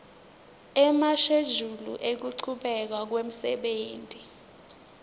emashejuli ekuchubeka kwemsebenti